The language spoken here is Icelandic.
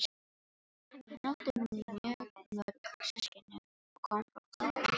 Hann átti mjög mörg systkini og kom frá fátæku heimili.